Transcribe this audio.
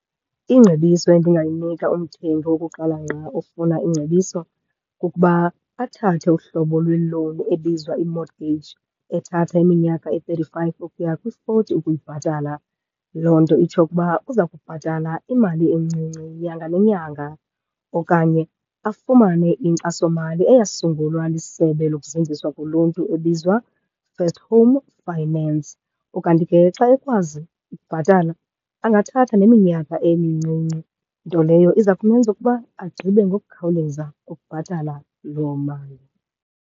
Iingcebiso endingamnika umthengi wokuqala ngqa ofuna ingcebiso kukuba, athathe uhlobo lwe-loan ebizwa i-mortgage ethatha iminyaka eyi-thirty-five ukuya kwi-forty ukuyibhatala. Loo nto itsho ukuba uza kubhatala imali encinci nyanga nenyanga okanye afumane inkxasomali eyasungulwa lisebe lokuzinziswa koluntu ebizwa First Home Finance. Ukanti ke xa ekwazi ukubhatala angathatha neminyaka emincinci, nto leyo iza kumenza ukuba agqibe ngokukhawuleza ukubhatala loo mali.